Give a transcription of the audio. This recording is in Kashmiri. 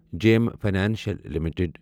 JM Financial limited